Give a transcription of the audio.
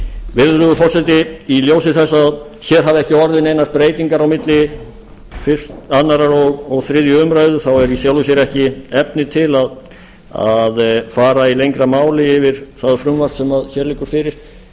virðulegur forseti í ljósi þess að hér hafa ekki orðið neinar breytingar á milli annars og þriðju umræðu þá er í sjálfu sér ekki efni til að fara í lengra máli yfir það frumvarp sem hér liggur fyrir